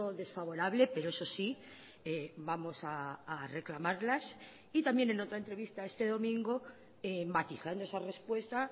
desfavorable pero eso sí vamos a reclamarlas y también en otra entrevista este domingo matizando esa respuesta